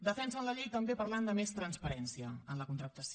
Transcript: defensen la llei també parlant de més transparència en la contractació